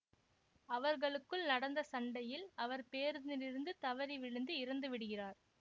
அவர்களுக்குள் நடந்த சண்டையில் அவர் பேருந்திலிருந்து தவறி விழுந்து இறந்து விடுகிறார்